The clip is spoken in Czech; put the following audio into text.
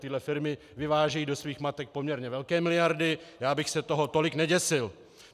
Tyhle firmy vyvážejí do svých matek poměrně velké miliardy, já bych se toho tolik neděsil.